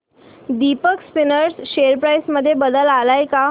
Deepak spinners share price मध्ये बदल आलाय का